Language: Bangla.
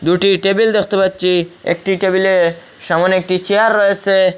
দুটি টেবিল দেখতে পাচ্ছি একটি টেবিলে সামনে একটি চেয়ার রয়েসে।